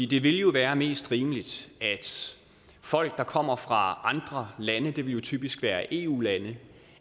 det vil jo være mest rimeligt at folk der kommer fra andre lande det vil typisk være eu lande